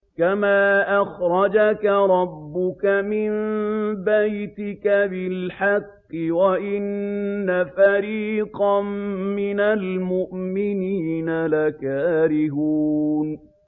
كَمَا أَخْرَجَكَ رَبُّكَ مِن بَيْتِكَ بِالْحَقِّ وَإِنَّ فَرِيقًا مِّنَ الْمُؤْمِنِينَ لَكَارِهُونَ